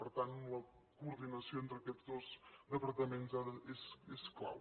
per tant la coordinació entre aquests dos departaments és clau